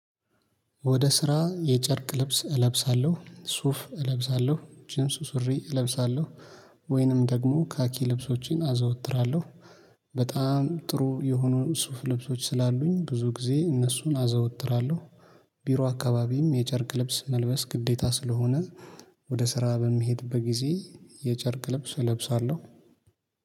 ወደ ስራ የጨርቅ ልብስ እለብሳለሁ ሱፍ እለብሳለሁ ጂምስ ሱሪ እለብሳለሁ ወይንም ደግሞ ካኪ ልብሶቼን አዘወትራለሁ በጣም ጥሩ የሆኑ ሱፍ ልብሶች ስላሉኝ ብዙ ጊዜ እነሱን አዘወትራለሁ። ቢሮ አካባቢም የጨርቅ ልብስ መልበስ ግዴታ ስለሆነ ወደ ስራ በሚሄድበት ጊዜ የጨርቅ ልብስ እለብሳለሁ።